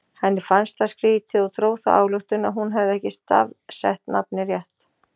Henni fannst það skrítið og dró þá ályktun að hún hefði ekki stafsett nafnið rétt.